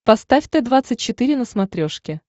поставь т двадцать четыре на смотрешке